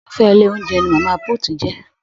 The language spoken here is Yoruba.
Irufẹ ilé oúnjẹ ní mama put jẹ.